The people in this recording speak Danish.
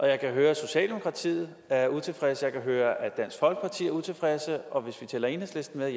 jeg kan høre at socialdemokratiet er utilfredse jeg kan høre at dansk folkeparti er utilfredse og hvis vi tæller enhedslisten med